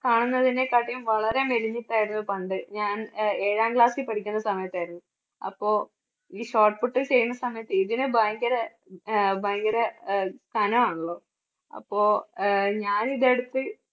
കാണുന്നതിനെക്കാട്ടും വളരെ മെലിഞ്ഞിട്ടായിരുന്നു പണ്ട് ഞാൻ അഹ് ഏഴാം class ൽ പഠിക്കുന്ന സമയത്ത് ആയിരുന്നു. അപ്പോ ഈ shot put ചെയ്യുന്ന സമയത്ത് ഇതിന് ഭയങ്കര അഹ് ഭയങ്കര അഹ് കനം ആണല്ലോ അപ്പോ അഹ് ഞാൻ ഇത് എടുത്ത്